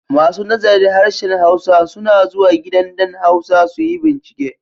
Masu nazarin Harshen Hausa suna zuwa gidan ɗan Hausa su yi bincike.